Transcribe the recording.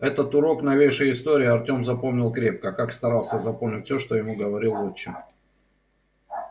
этот урок новейшей истории артём запомнил крепко как старался запомнить всё что ему говорил отчим